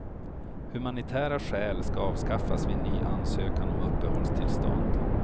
Humanitära skäl skall avskaffas vid ny ansökan om uppehållstillstånd.